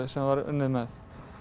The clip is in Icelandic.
sem var unnið með